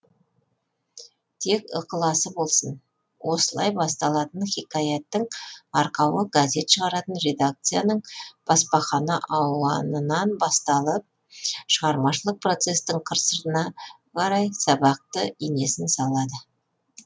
тек ықыласы болсын осылай басталатын хикаяттың арқауы газет шығаратын редакциянын баспахана ауанынан басталып шығармашылық процестің қыр сырына қарай сабақты инесін салады